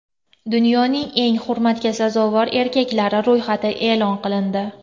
Dunyoning eng hurmatga sazovor erkaklari ro‘yxati e’lon qilindi.